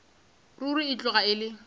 ruri e tloga e le